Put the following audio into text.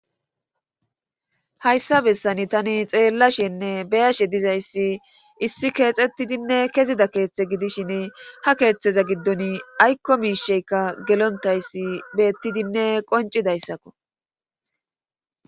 Hayssa bessani tani xeellashenne beyashe dizayssi issi keexettidinne kezida keeththe gidishin ha keeththeza giddon aykko miisheykka gelontayssi beettidinne qoncidayssakko.